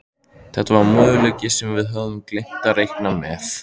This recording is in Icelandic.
Þetta var möguleiki sem við höfðum gleymt að reikna með.